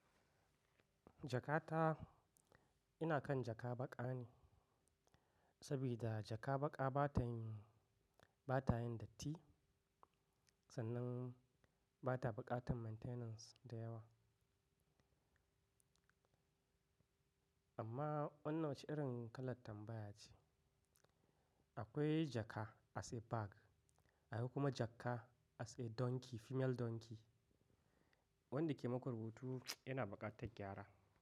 Jakata, ina kan jaka baƙa ne, sabida jaka baƙa bata yin, bata yin datti, sannan bata buƙatan maintenance da yawa. Amma wannan wacce irin kalar tambaya ce. Akwai jaka as a bag, akwai kuma jaka as a donkey, female donkey wanda ke muku rubutu yana buƙatar gyara.